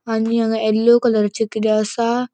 आणि हांगा येल्लो कलराचे किते असा.